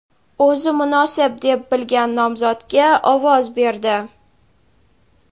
o‘zi munosib deb bilgan nomzodga ovoz berdi.